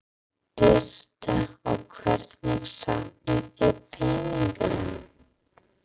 Birta: Og hvernig safnið þið peningum?